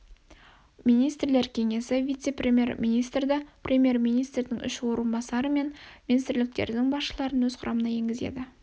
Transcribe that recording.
министрлер кеңесі вице премьер-министрді премьер-министрдің үш орынбасары мен министрліктердің басшыларын өз құрамына енгізеді